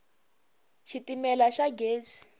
xitimela xa gezi